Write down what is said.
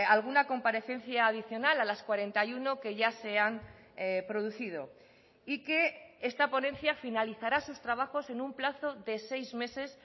alguna comparecencia adicional a las cuarenta y uno que ya se han producido y que esta ponencia finalizará sus trabajos en un plazo de seis meses